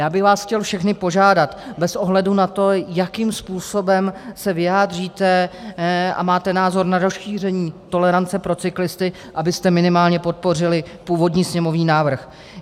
Já bych vás chtěl všechny požádat, bez ohledu na to, jakým způsobem se vyjádříte a máte názor na rozšíření tolerance pro cyklisty, abyste minimálně podpořili původní sněmovní návrh.